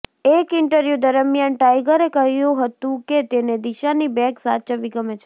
એક ઈન્ટરવ્યૂ દરમિયાન ટાઈગરે કહ્યું હતું કે તેને દિશાની બેગ સાચવવી ગમે છે